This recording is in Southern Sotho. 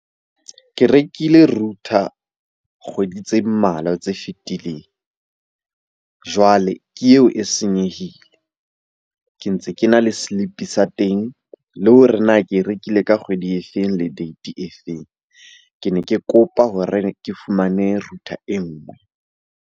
Ke rekile router kgwedi tse mmalwa tse fitileng, jwale ke eo e senyehile. Ke ntse ke na le slip-e sa teng, le hore na ke e rekile ka kgwedi e feng le date e feng? Ke ne ke kopa hore ke fumane router e nngwe.